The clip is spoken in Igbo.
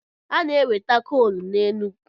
A na-enweta koolu n'Enugwu.